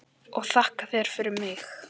Og þakka þér fyrir mig.